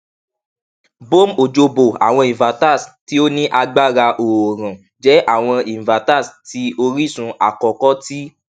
bome ojoboh awọn inverters ti o ni agbara oorun jẹ awọn inverters ti orisun akọkọ ti